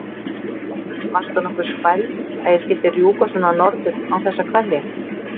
Varstu nokkuð spæld að ég skyldi rjúka svona norður án þess að kveðja?